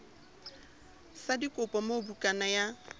sa dikopo moo bukana ya